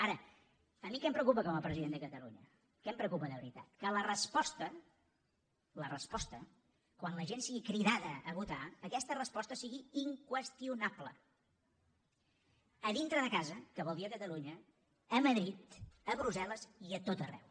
ara a mi què em preocupa com a president de catalunya què em preocupa de veritat que la resposta la resposta quan la gent sigui cridada a votar aquesta resposta sigui inqüestionable a dintre de casa que vol dir a catalunya a madrid a brussel·les i a tot arreu